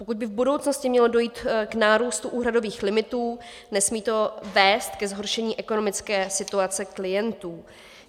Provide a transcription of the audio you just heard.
Pokud by v budoucnosti mělo dojít k nárůstu úhradových limitů, nesmí to vést ke zhoršení ekonomické situace klientů.